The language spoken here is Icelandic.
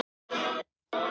Hafþór, spilaðu lag.